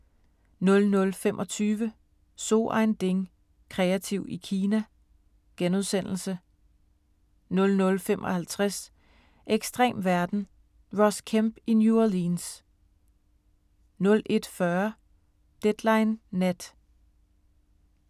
00:25: So ein Ding: Kreativ i Kina * 00:55: Ekstrem verden – Ross Kemp i New Orleans 01:40: Deadline Nat